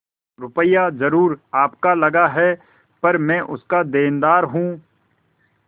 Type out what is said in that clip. रुपया जरुर आपका लगा पर मैं उसका देनदार हूँ